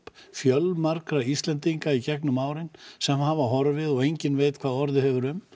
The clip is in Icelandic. fjölmargra Íslendinga í gegnum árin sem hafa horfið og enginn veit hvað orðið hefur um